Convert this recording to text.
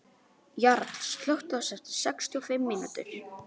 Jarl, slökktu á þessu eftir sextíu og fimm mínútur.